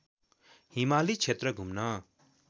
हिमाली क्षेत्र घुम्न